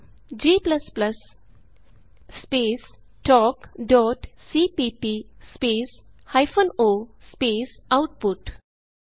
g space talkਸੀਪੀਪੀ space hyphen o space output type ਕਰੋ